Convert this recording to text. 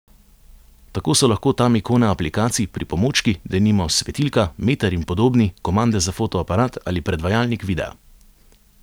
Tako so lahko tam ikone aplikacij, pripomočki, denimo svetilka, meter in podobni, komande za fotoaparat ali predvajalnik videa.